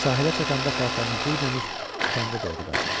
Sahilə çatanda paltarını geyməmiş kəndə doğru qaçır.